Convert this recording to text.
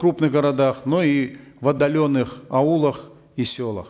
крупных городах но и в отдаленных аулах и селах